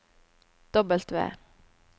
W